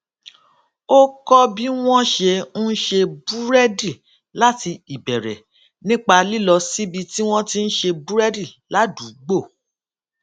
ó kó bí wón ṣe ń ṣe búrédì láti ìbèrè nípa lílọ síbi tí wón ti ń ṣe búrédì ládùúgbò